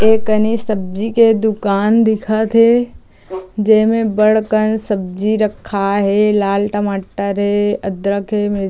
एक कनि सब्जी के दूकान दिखत हे जे में बढ़ कन सब्जी राखए हे लाल टमाटर हे अदरक हे मिर्ची--